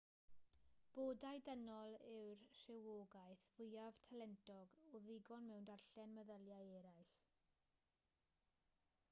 bodau dynol yw'r rhywogaeth fwyaf talentog o ddigon mewn darllen meddyliau eraill